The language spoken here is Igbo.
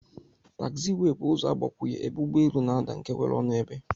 Tagziwey bu ụzọ agbakwunye ebe ụgbọ elu n'adaa nke nwere ọnụ ebe.